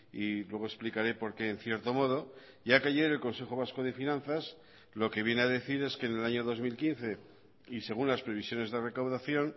y luego explicaré porque en cierto modo ya que ayer el consejo vasco de finanzas lo que viene a decir es que en el año dos mil quince y según las previsiones de recaudación